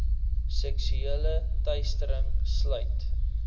seksuele teistering sluit